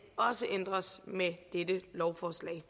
også ændres med dette lovforslag